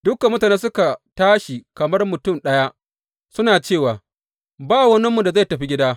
Dukan mutane suka tashi kamar mutum ɗaya, suna cewa Ba waninmu da zai tafi gida.